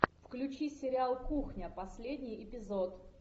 включи сериал кухня последний эпизод